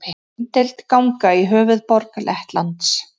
Umdeild ganga í höfuðborg Lettlands